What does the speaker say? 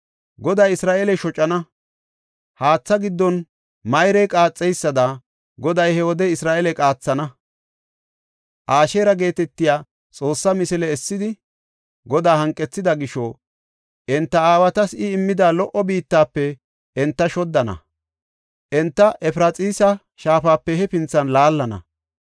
Goday Isra7eele shocana; haatha giddon mayrey qaaxeysada Goday he wode Isra7eele qaathana. Asheera geetetiya xoosse misile essidi, Godaa hanqethida gisho, enta aawatas I immida lo77o biittafe enta shoddana; enta Efraxiisa shaafape hefinthan laallana.